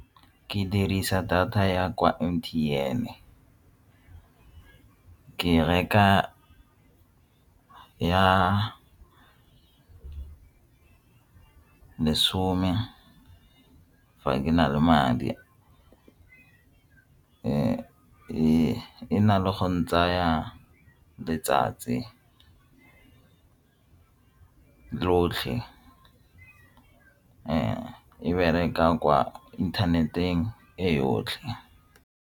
Ke dirisa data ya kwa M_T_N-e ke reka ya lesome fa ke na le madi e na le go ntsaya letsatsi lotlhe fa e bereka kwa internet-eng e yotlhe.